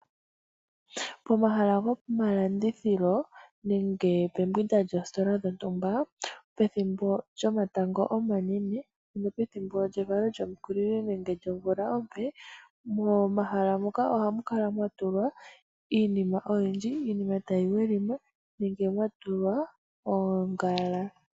Pomahala gomalandithilo nenge pembwinda lyoositola dhontumba pethimbo lyomatango omanene, pethimbo lyevalo lyomukulili nenge lyomvula ompe, momahala muka ohamu kala mwa tulwa iinima oyindji. Iinima tayi welima nenge mwatulwa omalwaala.